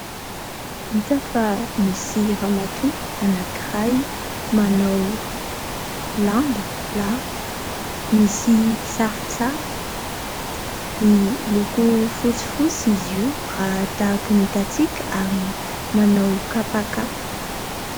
Hita fa misy ramatoa anankiray manao lamba lava misy sarisary. Miloko fotsifotsy izy io raha tahaka ny hitantsika ary manao kapakapa.